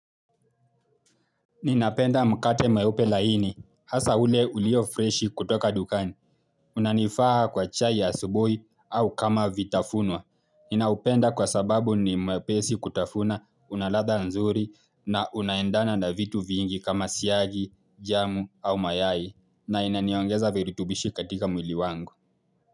Ninapenda mkate mweupe laini, hasa ule uliyo freshi kutoka dukani. Unanifaa kwa chai ya asubuhi au kama vitafunwa. Ninaupenda kwa sababu ni mwepesi kutafuna unaladha nzuri na unaendana na vitu vyingi kama siagi, jamu au mayai na inaniongeza virutubishi katika mwili wangu.